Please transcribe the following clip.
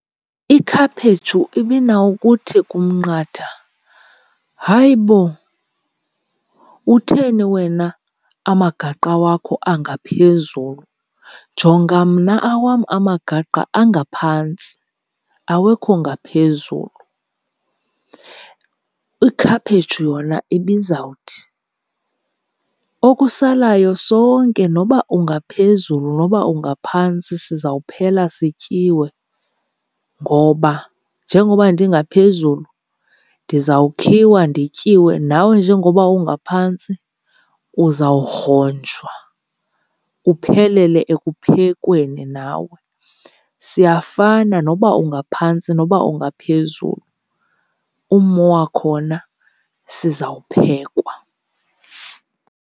Ikhaphetshu ibinawukuthi kumnqatha, hayibo utheni wena amagaqa wakho angaphezulu? Jonga mna awam amagaqa angaphantsi awekho ngaphezulu. Ikhaphetshu yona ibizawuthi, okusalayo sonke noba ungaphezulu noba ungaphantsi sizawuphela sityiwe, ngoba njengoba ndingaphezulu ndizawukhiwa ndityiwe nawe njengoba ungaphantsi uzawugronjwa uphelele ekuphekweni nawe. Siyafana noba ungaphantsi noba ungaphezulu, ummo wakhona sizawuphekwa.